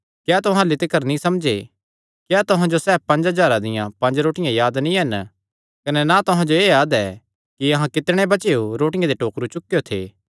क्या तुहां अह्ल्ली तिकर नीं समझे क्या तुहां जो सैह़ पंज हज़ारां दियां पंज रोटियां याद नीं हन कने ना तुहां जो एह़ याद ऐ कि अहां कितणे बचेयो रोटियां दे टोकरु चुकेयो थे